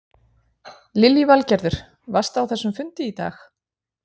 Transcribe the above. Lillý Valgerður: Varstu á þessum fundi í dag?